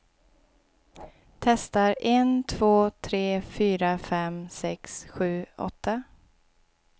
Testar en två tre fyra fem sex sju åtta.